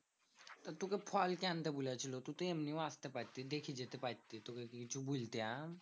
তোকে ফল কে আনতে বলেছিলো? তুই তো এমনিও আসতে পারতিস। দেখে যেতে পারতিস। তুকে কে কি কিছু বলতাম?